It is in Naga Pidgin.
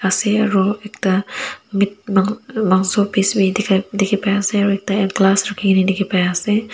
ase aro ekta met mangso piece bi dikhipaiase aro ekta glass rakhikae na dikhipaiase.